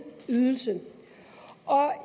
ydelse og